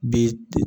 Bi